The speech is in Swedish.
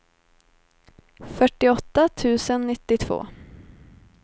fyrtioåtta tusen nittiotvå